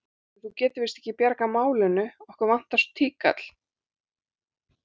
Heyrðu. þú getur víst ekki bjargað málinu. okkur vantar svo tíkall.